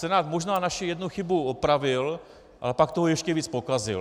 Senát možná naši jednu chybu opravil, ale pak toho ještě víc pokazil.